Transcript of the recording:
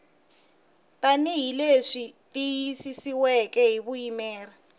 tanihi leswi tiyisisiweke hi vuyimeri